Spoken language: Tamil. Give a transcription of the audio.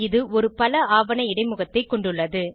இது ஒரு பல ஆவண இடைமுகத்தைக் கொண்டுள்ளது